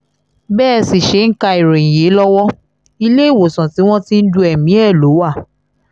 bẹ́ ẹ sì ṣe ń ka ìròyìn yìí lọ́wọ́ iléewòsàn tí wọ́n ti ń du ẹ̀mí ẹ lọ wá